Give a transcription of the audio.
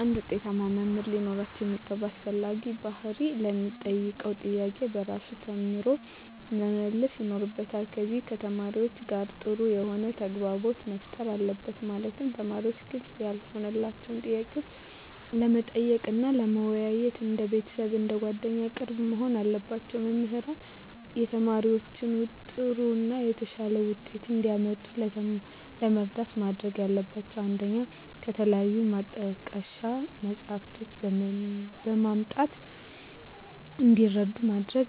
አንድ ውጤታማ መምህር ሊኖረው የሚገባ አስፈላጊ ባህሪ ለሚጠየቀው ጥያቄ በራሱ ተማምኖ መመለስ ይኖርበታል ከዚም ከተማሪዎቹ ጋር ጥሩ የሆነ ተግባቦት መፍጠር አለበት ማለትም ተማሪዎች ግልጽ ያልሆነላቸውን ጥያቄ ለመጠየቅ እና ለመወያየት እንደ ቤተሰብ አንደ ጓደኛ ቅርብ መሆን አለባቸው። መምህራን ተማሪዎቻቸውን ጥሩ እና የተሻለ ውጤት እንዲያመጡ ለመርዳት ማድረግ ያለባቸው 1 ከተለያዩ ማጣቀሻ መፅሃፍትን በማምጣት እንዲረዱ ማድረግ